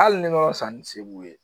Hali ne bɛ fisa ni segu ye